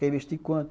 Quer investir quanto?